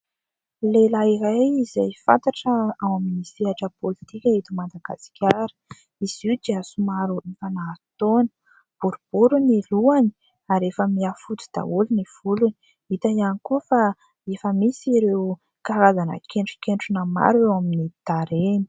Lehilahy iray izay fantatra ao amin'ny sehatra politika eto Madagasikara. Izy io dia somary efa nahazo taona, boribory ny lohany ary efa miha fotsy daholo ny volony. Hita ihany koa fa efa misy ireo karazana kentronketrona maro eo amin'ny tarehiny.